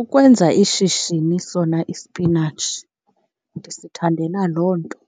Ukwenza ishishini sona isipinatshi ndisithandela loo nto